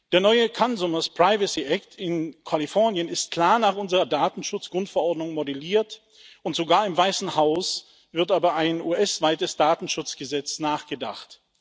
Der neue Consumers Privacy Act in Kalifornien ist klar nach unserer Datenschutz Grundverordnung modelliert, und sogar im Weißen Haus wird über ein US weites Datenschutzgesetz nachgedacht.